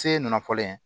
Seye nafalen